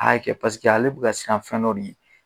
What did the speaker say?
A kɛ paseke ale bi ka siran fɛn dɔ de ɲɛn